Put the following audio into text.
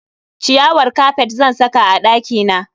Ciyawar kafet zan saka a dakina.